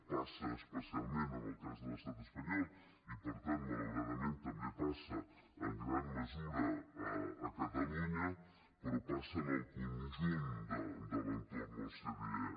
passa especialment en el cas de l’estat espanyol i per tant malauradament també passa en gran mesura a catalunya però passa en el conjunt de l’entorn ocde